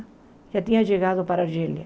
Já tinha chegado para Argélia.